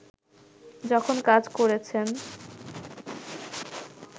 যখন কাজ করেছেন